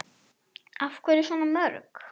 Af hverju svona mörg?